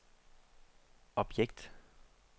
objekt